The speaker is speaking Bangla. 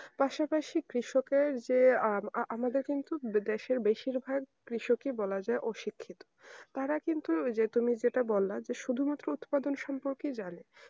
পাশাপাশি কৃষকের যে আমাদের কিন্তু আমাদের দেশের বেশির ভাগ কৃষক কেই বলা যায় যে অশিক্ষিত তারা কিন্তু তুমি যে যেটা বল্ল যে শুধু মাত্র উৎপাদন সম্পর্কে জানে